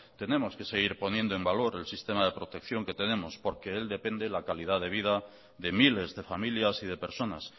tenemos que seguir poniendo en valor el sistema de protección que tenemos porque de él depende la calidad de vida de miles de familias y de personas